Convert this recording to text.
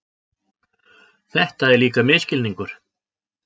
Þetta er líka misskilningur.